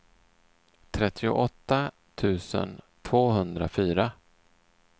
trettioåtta tusen tvåhundrafyra